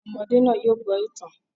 Àwọn ọmọdé náà yóò gbọ́ ìtàn